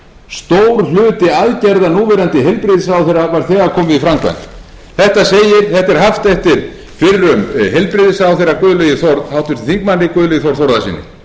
stór hluti aðgerða núverandi heilbrigðisráðherra væri þegar komin í framkvæmd þetta er haft eftir fyrrum heilbrigðisráðherra háttvirtum þingmanni guðlaugi þór þórðarsyni við skulum fara aðeins